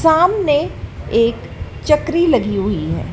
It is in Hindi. सामने एक चक्री लगी हुई है।